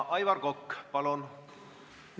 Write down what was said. Aivar Kokk, palun!